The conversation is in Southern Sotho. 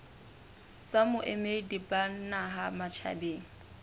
tsa boemedi ba naha matjhabeng